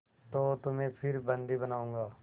तो तुम्हें फिर बंदी बनाऊँगा